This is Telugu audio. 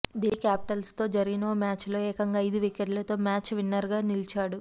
ఢిల్లీ క్యాపిటల్స్తో జరిగిన ఓ మ్యాచులో ఏకంగా ఐదు వికెట్లతో మ్యాచ్ విన్నర్గా నిలిచాడు